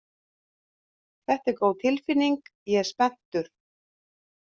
Þetta er góð tilfinning, ég er spenntur.